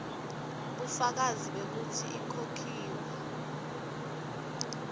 bufakazi bekutsi ikhokhiwe